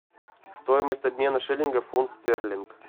стоимость обмена шиллингов фунт стерлинг